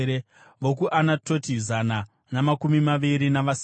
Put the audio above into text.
vokuAnatoti, zana namakumi maviri navasere;